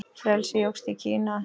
Frelsi jókst í Kína.